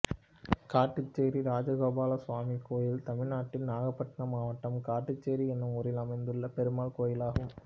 காட்டுச்சேரி இராஜகோபால சுவாமி கோயில் தமிழ்நாட்டில் நாகபட்டினம் மாவட்டம் காட்டுச்சேரி என்னும் ஊரில் அமைந்துள்ள பெருமாள் கோயிலாகும்